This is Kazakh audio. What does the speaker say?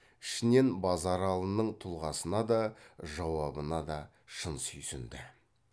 ішінен базаралының тұлғасына да жауабына да шын сүйсінді